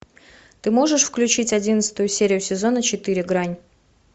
ты можешь включить одиннадцатую серию сезона четыре грань